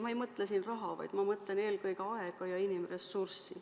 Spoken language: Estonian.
Ma ei mõtle siin raha, vaid ma mõtlen eelkõige aega ja inimressurssi.